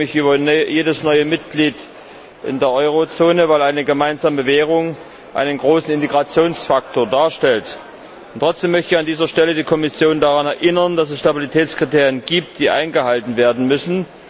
Ich freue mich über jedes neue Mitglied in der Eurozone, weil eine gemeinsame Währung einen großen Integrationsfaktor darstellt. Trotzdem möchte ich an dieser Stelle die Kommission daran erinnern, dass es Stabilitätskriterien gibt, die eingehalten werden müssen.